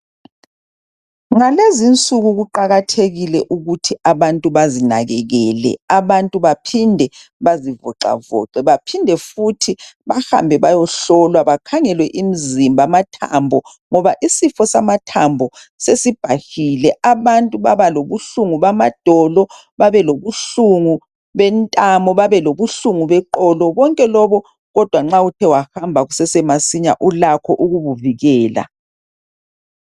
Ngalezinsuku kuqakathekile ukuthi abantu bazinakekele, abantu baphinde bazivoxavoxe baphinde futhi bahambe beyehlolwa bakhangelwe imzimba amathambo ngoba isifo samathambo sesibhahile. Abantu baba lobuhlungu bamadolo, babelobuhlungu bentamo, babelobuhlungu beqolo. Konke lobo kodwa nxa uthe wahamba kusesemasinya ulakho ukukuvikela.